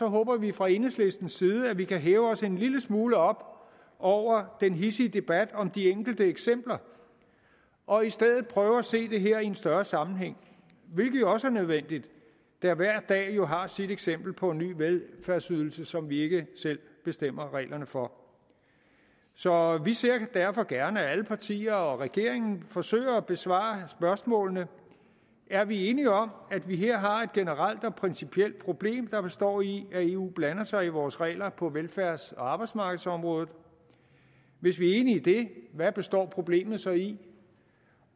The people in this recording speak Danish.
håber vi fra enhedslistens side at vi kan hæve os en lille smule op over den hidsige debat om de enkelte eksempler og i stedet prøve at se det her i en større sammenhæng hvilket jo også er nødvendigt da hver dag har sit eksempel på en ny velfærdsydelse som vi ikke selv bestemmer reglerne for så vi ser derfor gerne at alle partier og regeringen forsøger at besvare spørgsmålene er vi enige om at vi her har et generelt og principielt problem der består i at eu blander sig i vores regler på velfærds og arbejdsmarkedsområdet og hvis vi er enige om det hvad består problemet så i